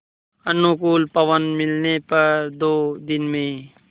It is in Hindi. अनुकूल पवन मिलने पर दो दिन में